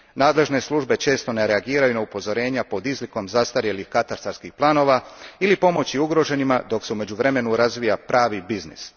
Nadležne službe često ne reagiraju na upozorenja pod izlikom zastarjelih katastarskih planova ili pomoći ugroženima dok se u međuvremenu razvija pravi biznis.